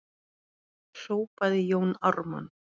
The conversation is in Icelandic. hrópaði Jón Ármann.